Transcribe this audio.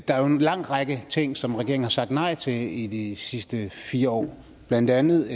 der er jo en lang række ting som regeringen har sagt nej til i de sidste fire år blandt andet